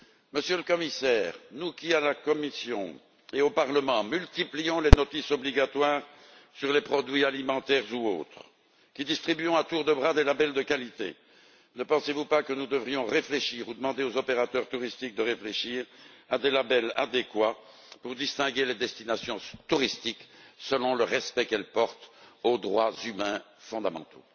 Monsieur le Commissaire, nous qui à la Commission et au Parlement multiplions les notices obligatoires sur les produits alimentaires ou autres, qui distribuons à tour de bras des labels de qualité, ne pensez vous pas que nous devrions réfléchir ou demander aux opérateurs touristiques de réfléchir à des labels adéquats pour distinguer les destinations touristiques selon le respect qu'elles portent aux droits humains fondamentaux.